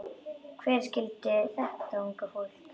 Hver skildi þetta unga fólk?